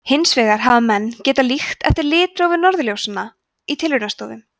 hins vegar hafa menn getað líkt eftir litrófi norðurljósanna í tilraunastofum